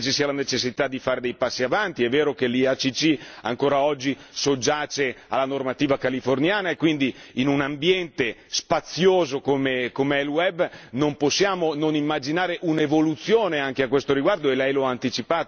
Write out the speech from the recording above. È vero che l'IACC ancora oggi soggiace alla normativa californiana e, quindi, in un ambiente spazioso come è il web, non possiamo non immaginare un'evoluzione anche a questo riguardo, e lei lo ha anticipato correttamente e io di questo la ringrazio.